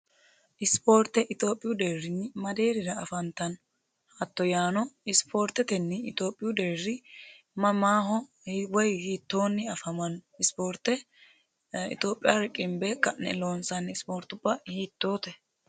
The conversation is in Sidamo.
ispoorte ixioophiyu deerrinni madeerira afantanno haatto yaano isipoortetenni itioophiyu deerri mamaaho hiwayi hiittoonni afamanno ispoorte itioophiya riqimbee ka'ne loonsanni ispoortubaa hiittoote